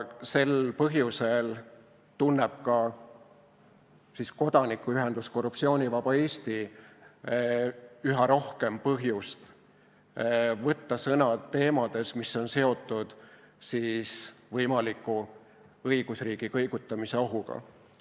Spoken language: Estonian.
Sel põhjusel tunneb ka kodanikuühendus Korruptsioonivaba Eesti üha rohkem vajadust võtta sõna teemadel, mis on seotud võimaliku õigusriigi kõigutamise ohuga.